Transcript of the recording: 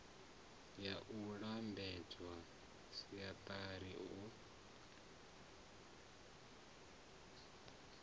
ya u lambedza srsa u